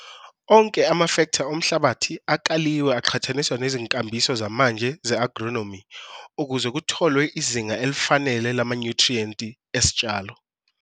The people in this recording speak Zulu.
Onke amafektha omhlabathi akaliwe aqhathaniswa nezinkambiso zamanje ze-agronomi ukuze kutholwe izinga elifanele lamanyuthriyenti esitshalo.